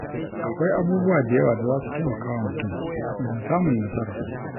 Akwai abubuwa da yawa da za su taimakawa mutum wajen samun nasarar.